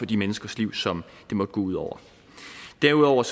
de menneskers liv som det måtte gå ud over derudover